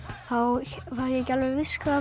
þá var ég ekki alveg viss hvað